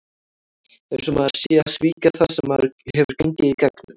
Það er eins og maður sé að svíkja það sem maður hefur gengið í gegnum.